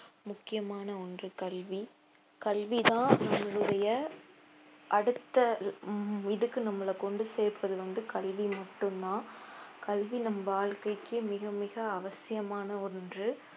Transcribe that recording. முக்கியமான ஒன்று கல்வி கல்விதான் உங்களுடைய அடுத்த உம் இதுக்கு நம்மள கொண்டு சேர்க்கிறது வந்து கல்வி மட்டும்தான் கல்வி நம் வாழ்க்கைக்கு மிக மிக அவசியமான ஒன்று